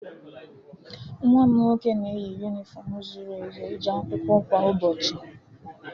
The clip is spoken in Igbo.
Nwa m nwoke na-eyi yunifọmụ zuru ezu eje akwụkwọ kwa ụbọchị.